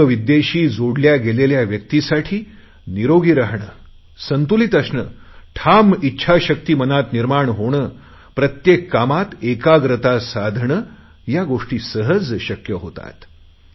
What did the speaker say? योग विद्येशी जोडल्या गेलेल्या व्यक्तींसाठी निरोगी राहणे संतुलित असणे ठाम इच्छाशक्ती मनात निर्माण होणे प्रत्येक कामात एकाग्रता साधणे या गोष्टी सहज शक्य होतात